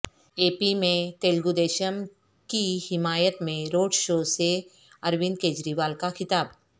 اے P میں تلگودیشم کی حمایت میں روڈ شوسے اروند کیجروال کا خطاب